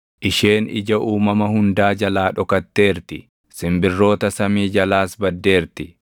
Isheen ija uumama hundaa jalaa dhokatteerti; simbirroota samii jalaas baddeerti.